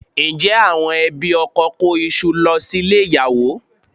Ǹjẹ́ àwọn ẹbí ọkọ kó iṣu lọ sílé ìyàwó?